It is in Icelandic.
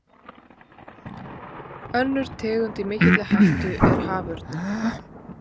Önnur tegund í mikilli hættu er haförninn.